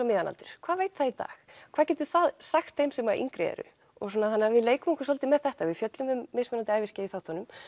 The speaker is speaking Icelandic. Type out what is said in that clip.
miðjan aldur hvað veit það í dag hvað geta þau sagt þeim sem að yngri eru þannig að við leikum okkur svolítið með þetta við fjöllum um mismunandi æviskeið í þáttunum